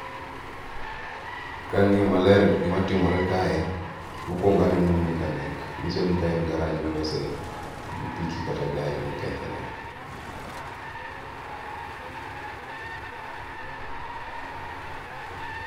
kang'iyo maler gima timore kae mokwongo aneno mechanic manyiso ni kae en garrage milose pikipiki kata gari mokethore.